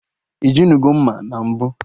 Ijinugo mma na mbụ?